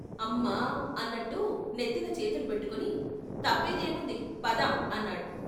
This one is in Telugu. అమ్మా అన్నట్టు నెత్తిన చేతులు పెట్టుకుని "తప్పేదేముంది పద" అన్నాడు.